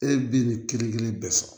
E bɛ nin kelen kelen bɛɛ sɔrɔ